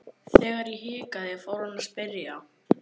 Þegar ég hikaði fór hann að spyrja.